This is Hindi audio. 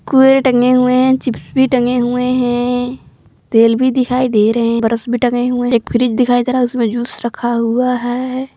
कुरकुरे भी टंगे हुए हैं चिप्स भी टंगे हुए हैं तेल भी दिखाई दे रहे हैं ब्रश भी टंगे हुए हैं एक फ्रीज़ दिखाई दे रहा है उसमें जूस रखा हुआ है।